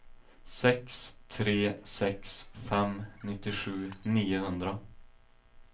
sex tre sex fem nittiosju niohundra